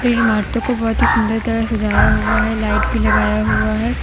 कई इमारतों को बहुत ही सुंदर तरह सजाया हुआ है लाइट भी लगाया हुआ है।